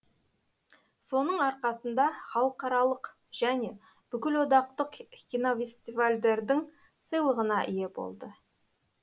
соның арқасында халықаралық және бүкілодақтық кинофестивальдердің сыйлығына ие болды